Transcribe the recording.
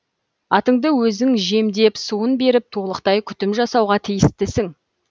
атыңды өзің жемдеп суын беріп толықтай күтім жасауға тиістісің